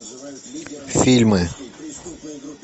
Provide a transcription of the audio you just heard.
фильмы